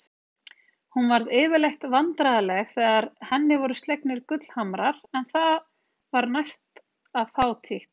Hún varð yfirleitt vandræðaleg þegar henni voru slegnir gullhamrar en það var næsta fátítt.